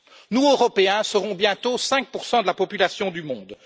Nous, Européens, seront bientôt 5 de la population du monde.